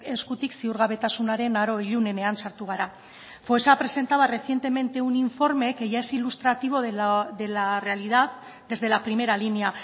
eskutik ziurgabetasunaren aro ilunenean sartu gara foessa presentaba recientemente un informe que ya es ilustrativo de la realidad desde la primera línea